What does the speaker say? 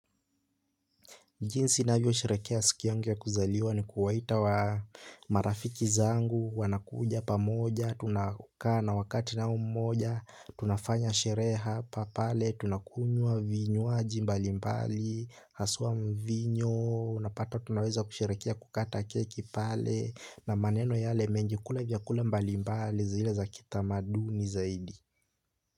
Jinsi ninavyo sherehekea siku yangu ya kuzaliwa ni kuwaita marafiki zangu, wanakuja pamoja, tunakaa na wakati nao mmoja, tunafanya sherehe hapa pale, tunakunywa vinywaji mbali mbali, haswa mvinyo, unapata tunaweza kusherehekea kukata keki pale, na maneno yale mengi. Kula vyakula mbali mbali zile za kitamaduni zaidi.